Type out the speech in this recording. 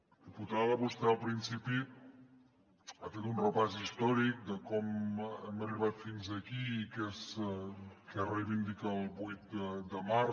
diputada vostè al principi ha fet un repàs històric de com hem arribat fins aquí i què reivindica el vuit de març